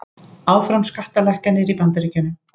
Áfram skattalækkanir í Bandaríkjunum